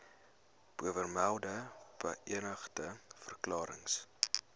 bovermelde beëdigde verklarings